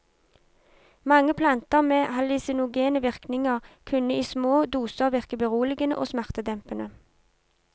Mange planter med hallusinogene virkninger kunne i små doser virke beroligende og smertedempende.